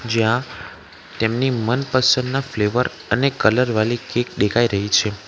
જ્યાં તેમની મનપસંદના ફ્લેવર અને કલર વાલી કેક દેખાઈ રહી છે.